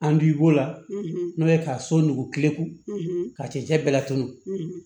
An b'i b'o la n'o ye ka so nugu kelengu ka cɛncɛn bɛɛ laturu